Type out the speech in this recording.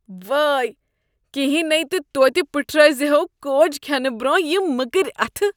وٲے! کہینۍ نے تہٕ توتہ پٔٹھرٲوۍ زِہو کوج کھینہٕ برۄنہہ یم مٔکٕرۍ اتھٕ۔